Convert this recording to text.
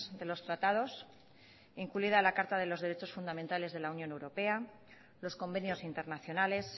de los tratados incluida la carta de los derechos fundamentales de la unión europea los convenios internacionales